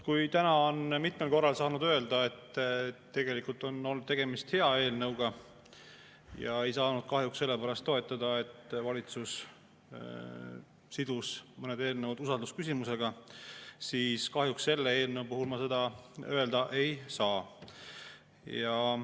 Kui täna on mitmel korral saanud öelda, et tegelikult on tegemist hea eelnõuga, aga seda ei saanud toetada sellepärast, et valitsus sidus mõned eelnõud usaldusküsimusega, siis kahjuks selle eelnõu puhul ma seda öelda ei saa.